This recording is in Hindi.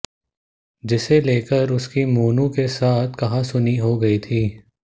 जिसे लेकर उसकी मोनू के साथ कहासुनी हो गई थी